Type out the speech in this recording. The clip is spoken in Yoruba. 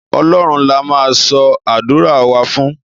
ọlọrun la ma so adura wa fún